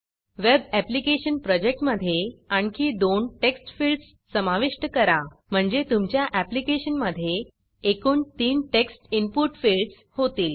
web application प्रोजेक्टमधे आणखी दोन टेक्स्ट फिल्डस समाविष्ट करा म्हणजे तुमच्या ऍप्लीकेशनमधे एकूण तीन टेक्स्ट इनपुट फिल्डस होतील